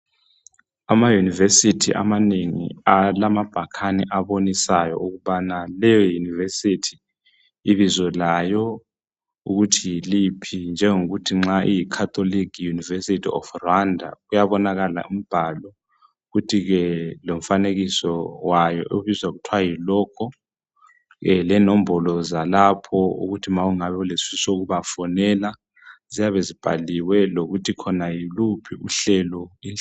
Ama university amanengi alamabhakani abonisayo ukubana leyouniversity ibizo layo ukuthi yiliphi. Njengokuthi nxa kuyiCatholic university of Rwanda, kuyabonakala umbhalo. Futhi ke lomfanekiso wayo, okuthiwa yilogo. Lenombolo zalapho. Ukuthi nxa ulesifiso sokufisa ukubafonela, ziyabe zibhaliwe. Lokuthi yiluphi uhlobo. ,